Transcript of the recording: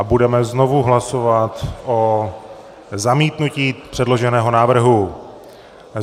A budeme znovu hlasovat o zamítnutí předloženého návrhu.